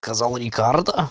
сказал рекардо